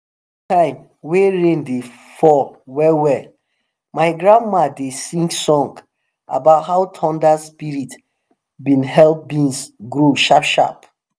during the time wen rain dey fall well well my grandma dey sing song about how thnder spirits been help beans grow sharp sharp